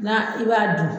Na i b'a dun